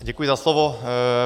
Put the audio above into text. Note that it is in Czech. Děkuji za slovo.